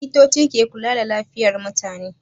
Likitoci ke kula da lafiyar mutane.